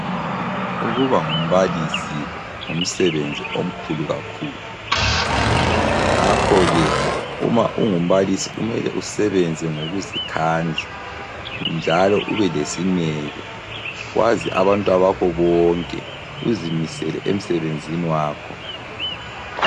Ukuba ngumbalisi ngumsebenzi omkhulu kakhulu, ngakhoke uma ungumbalisi kumele usebenze ngokuzikhandla njalo ubelesineke wazi abantwabakho bonke uzimisele emsebenzini wakho.